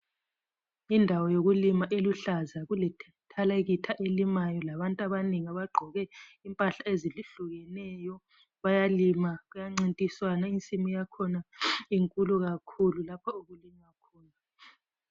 Indawo yokulina eluhlaza kulethalekitha elimayo labantu abanengi abagqoke impahla ezehlukeneyo bayalima kuyancintiswana insimu yakhona inkulu kakhulu lapho okulinywa khona